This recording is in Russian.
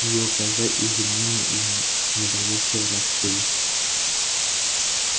её глаза изумлённо и недоверчиво раскрылись